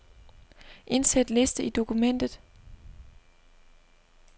Indsæt liste i dokumentet.